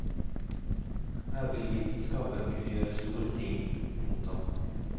Her vil vitenskapen kunne gjøre store ting. punktum